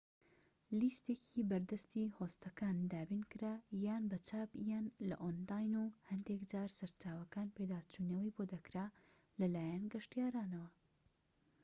لیستێکی بەردەستی هۆستەکان دابینکرا یان بە چاپ یان لە ئۆنلاین و هەندێكجار سەرچاوەکان پێداچوونەوەی بۆ دەکرا لەلایەن گەشتیارانەوە